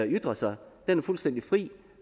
ytre sig er fuldstændig fri